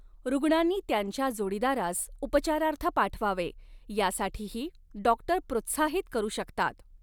रुग्णांनी त्यांच्या जोडीदारास उपचारार्थ पाठवावे यासाठीही डाॅक्टर प्रोत्साहित करू शकतात.